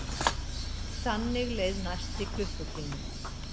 Þannig leið næsti klukkutími.